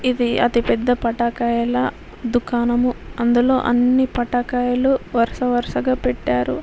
ఇది అతిపెద్ద పటాకాయల దుకాణము. అందులో అన్ని పటాకాయలు వరుస వరుసగా పెట్టారు.